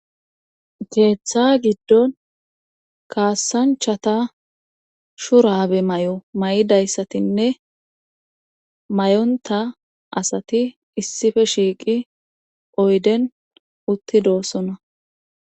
Keeththa giddon kaassanchata shurabe may7o may7idayssatinne may7onta asati issife shiiqi oyden uttidoosona.